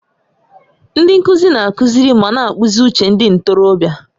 Ndị nkuzi na-akụziri ma na-akpụzi uche ndị ntorobịa.